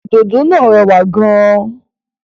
Òdòdó náà rẹwà gan-an.